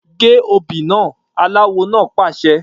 Gé obì naa! Aláwo náà pàṣẹ.